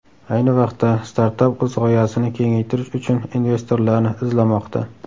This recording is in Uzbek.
Ayni vaqtda startap o‘z g‘oyasini kengaytirish uchun investorlarni izlamoqda.